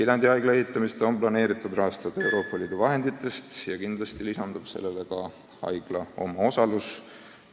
Viljandi uue haigla ehitamist on kavas rahastada Euroopa Liidu vahenditest ja kindlasti lisandub sellele ka haigla omaosalus.